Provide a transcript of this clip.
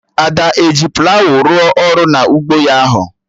Ada ehi plawụ rụọ ọrụ na ụgbọ ya ahụ?